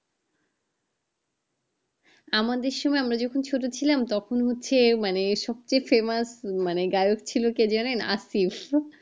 আমাদের সময় আমরা যেকোন ছোট ছিলাম তখন হচ্ছে মানে সত্যি famous গায়ক ছিল কে জানেন? আতিস